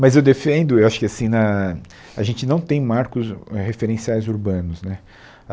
Mas eu defendo, eu acho que assim na a gente não tem marcos referenciais urbanos né.